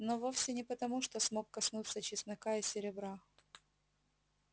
но вовсе не потому что смог коснуться чеснока и серебра